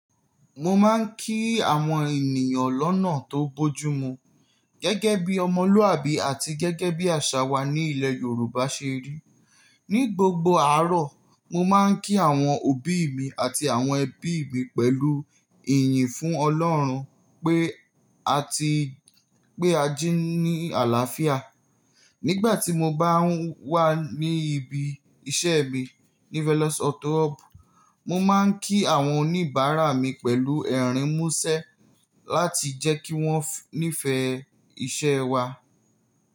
Mo máa ń kí àwọn ènìyàn lọ́nà tó bójú mu gẹ́gẹ́ bí ọmọlúàbí àti gẹ́gẹ́ bí àṣà wa ní ilẹ̀ Yorùbá ṣe rí. Ni gbogbo àárọ̀, mo máa ń kí àwọn òbí mi àti àwọn ẹbí mi pẹ̀lú ìyìn fún Ọlọ́run pé a ti pé ají ní àlàáfíà. Nígbà tí mo bá wà ní ibi iṣẹ́ mi ní Velos auto hub, mo máa ń kí àwọn oníbàárà mi pẹ̀lú ẹ̀rín mú ṣẹ́ láti jẹ́ kí wọ́n nífẹ̀ẹ́ iṣẹ́ wa.